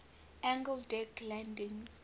angled deck landing